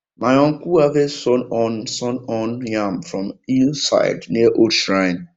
my uncle harvest sun horn sun horn yam from hill side near old shrine